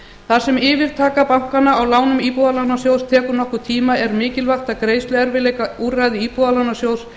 þar sem yfirtaka bankanna á lánum íbúðalánasjóð tekur nokkurn tíma er mikilvægt að greiðsluerfiðleikaúrræði íbúðalánasjóð